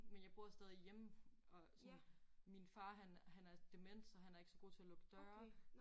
Men jeg bor stadig hjemme og sådan min far han han er dement så han er ikke så god til at lukke døre